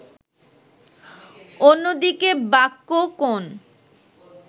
অন্যদিকে বাক্য কোন